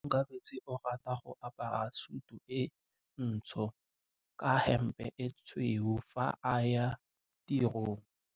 Onkabetse o rata go apara sutu e ntsho ka hempe e tshweu fa a ya tirong.